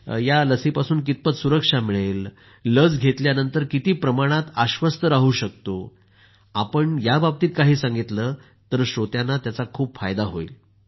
लसीपासून कितपत सुरक्षा मिळेल लस घेतल्यानंतर किती प्रमाणात आश्वस्त राहू शकतो आपण याबाबतीत काही सांगितलं तर श्रोत्यांना त्याचा खूप फायदा होईल